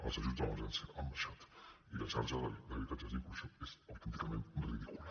els ajuts d’emergència han baixat i la xarxa d’habitatges d’inclusió és autènticament ridícula